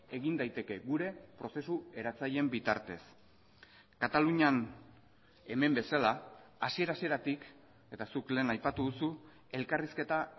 egin daiteke gure prozesu eratzaileen bitartez katalunian hemen bezala hasiera hasieratik eta zuk lehen aipatu duzu elkarrizketa